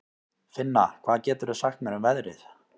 Finna, hvað geturðu sagt mér um veðrið?